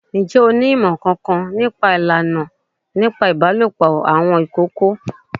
Ǹjẹ́ o ní ìmọ̀ kankan ní pa ìlànà ìbálòpọ̀ àwọn ìkookò?